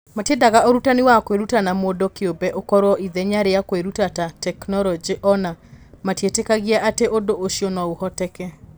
Matiendaga ũrutani wa kwĩruta na mũndũ kĩũmbe ũkorũo ithenya rĩa kwĩruta ta tekinoronjĩ, o na matietĩkagia atĩ ũndũ ũcio no ũhoteke.